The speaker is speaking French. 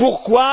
Et pourquoi?